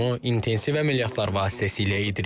Bunu intensiv əməliyyatlar vasitəsilə edirik.